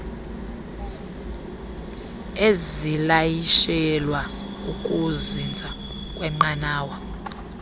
ezilayishelwa ukuzinza kwenqanawa